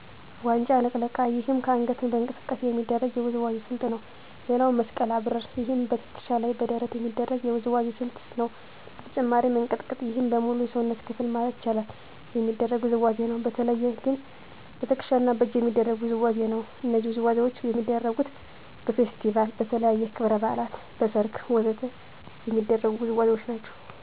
ዋንጫ ልቅለቃ ይህም በአንገት እንቅስቃሴ የሚደረግ የውዝዋዜ ስልት ነው ሌላው መስቀል አብርር ይህም በትከሻ እና በደረት የሚደረግ የውዝዋዜ ስልት ነው በተጨማሪም እንቅጥቅጥ ይህም በሙሉ የሰውነት ክፍል ማለት ይቻላል የሚደረግ ውዝዋዜ ነው በተለየ ግን በትክሻ እና በእጅ የሚደረግ ውዝዋዜ ነው እነዚህ ውዝዋዜዎች የሚደረጉት በፌስቲቫል, በተለያዩ ክብረ በዓላት, በሰርግ ወ.ዘ.ተ የሚደረጉ ውዝዋዜዎች ናቸው